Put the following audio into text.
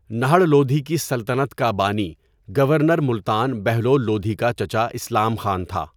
نہڑ لودھی کی سلطنت کا بانی گورنر ملتان بہلول لودھی کا چچا اسلام خان تھا.